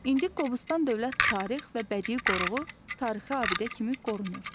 İndi Qobustan Dövlət Tarix və Bədii Qoruğu tarixi abidə kimi qorunur.